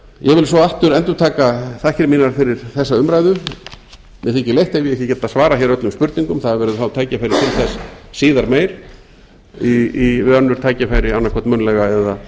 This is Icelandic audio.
vil svo aftur endurtaka þakkir mínar fyrir þessa umræðu mér þykir leitt ef ég hef ekki getað svarað hér öllum spurningum það verður þá tækifæri til þess síðar meir við önnur tækifæri annað hvort munnlega eða